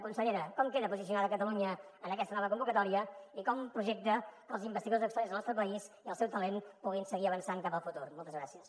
consellera com queda posicionada catalunya en aquesta nova convocatòria i com projecta que els investigadors excel·lents del nostre país i el seu talent puguin seguir avançant cap al futur moltes gràcies